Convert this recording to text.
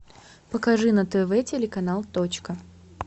покажи на тв телеканал точка